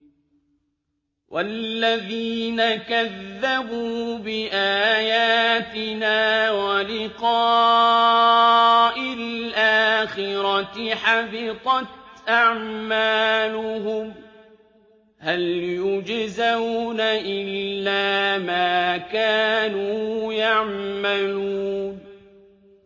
وَالَّذِينَ كَذَّبُوا بِآيَاتِنَا وَلِقَاءِ الْآخِرَةِ حَبِطَتْ أَعْمَالُهُمْ ۚ هَلْ يُجْزَوْنَ إِلَّا مَا كَانُوا يَعْمَلُونَ